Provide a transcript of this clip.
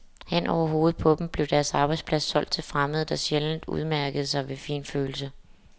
Hen over hovedet på dem blev deres arbejdsplads solgt til fremmede, der sjældent udmærkede sig ved finfølelse.